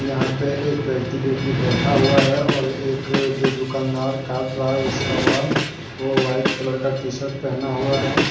यहाँ पे एक व्यक्ति जो की बैठा हुआ है और एक जो दूकानदार काट रहा है उसका बाल वो वाइट कलर का टी शर्ट पहना हुआ है।